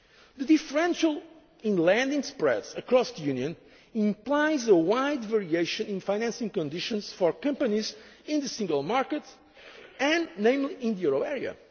States. The differential in lending spreads across the Union implies a wide variation in financing conditions for companies in the single market and, particularly, in the